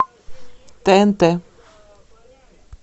тнт